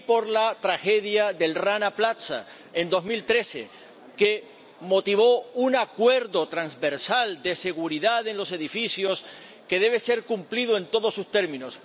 y por la tragedia del Rana Plaza en 2013, que motivó un acuerdo transversal de seguridad en los edificios, que debe ser cumplido en todos sus términos.